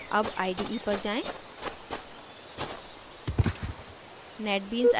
अब ide पर जाएँ